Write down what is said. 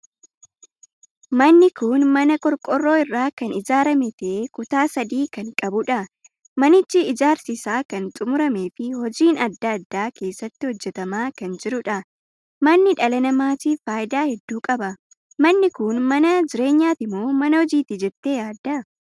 Manni kun mana qorqorroo irraa kan ijaarame tahee kutaa sadii kan qabudha. manichi ijaarsi isaa kan xumuramee fi hojiin addaa addaa keessatti hojjetamaa kan jiruudha. manni dhala namaatiif faayidaa hedduu qaba. Manni kun mana jireenyatimoo mana hojiiti jettee yaadda?